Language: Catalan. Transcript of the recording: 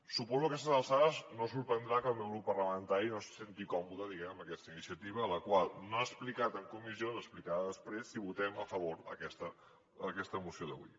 suposo que a aquestes alçades no sorprendrà que el meu grup parlamentari no se senti còmode diguem ne amb aquesta iniciativa la qual no ha explicat en comissió l’explicarà després si votem a favor d’aquesta moció d’avui